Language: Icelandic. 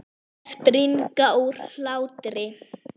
Þær springa úr hlátri.